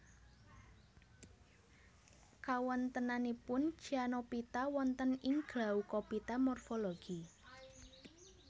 Kawontenanipun Cyanophyta wonten ing Glaucophyta morfologi